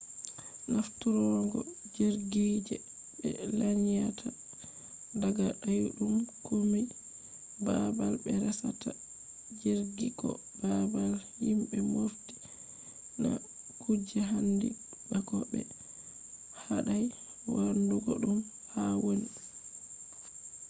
nafturgo jirgi je be lanyata daga dayudum kombi babal be resata jirgi ko babal himbe mofti na kuje handi ba ko be hadai wadugo dum haa woni